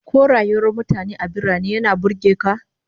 Ko rayuwar mutane a birane yana burge ka?